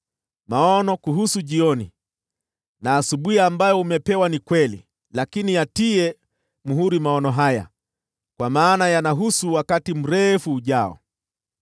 “Maono kuhusu jioni na asubuhi ambayo umepewa ni kweli, lakini yatie muhuri maono haya, kwa maana yanahusu wakati mrefu ujao.”